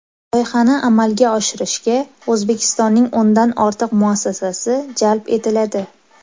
Loyihani amalga oshirishga O‘zbekistonning o‘ndan ortiq muassasasi jalb etiladi.